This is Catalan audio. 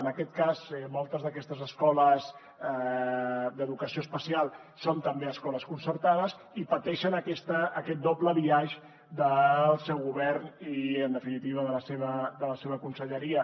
en aquest cas moltes d’aquestes escoles d’educació especial són també escoles concertades i pateixen aquest doble biaix del seu govern i en definitiva de la seva conselleria